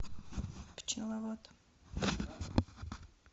пчеловод